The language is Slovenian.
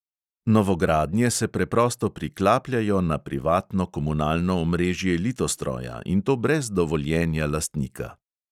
Novogradnje se preprosto priklapljajo na privatno komunalno omrežje litostroja, in to brez dovoljenja lastnika.